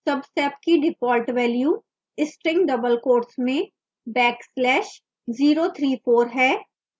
subsep की default value string double quotes में backslash 034 है